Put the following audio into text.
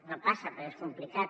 no passa perquè és complicat